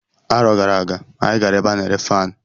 Arọ gara aga, anyị gara ebe a na-ere faanụ.